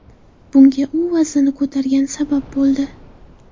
Bunga u vaznini ko‘targani sabab bo‘ldi.